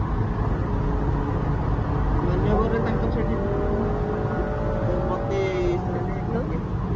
ମାନ୍ୟବରରେ ତଅଙ୍କ ସେଠି designer ଅଛନ୍ତି ତ ମତେ ସେମାନେ ଇଏ